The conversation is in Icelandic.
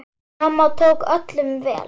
Mamma tók öllum vel.